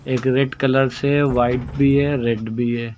एक red colour से white भी है रेड भी है।